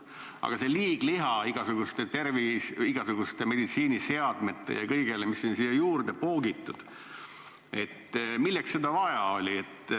Aga see liigliha, igasugused meditsiiniseadmed ja kõik, mis siia juurde on poogitud – milleks seda vaja oli?